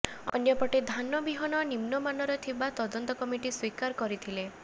ଅନ୍ୟପଟେ ଧାନ ବିହନ ନିମ୍ନମାନର ଥିବା ତଦନ୍ତ କମିଟି ସ୍ୱୀକାର କରିଥିଲେ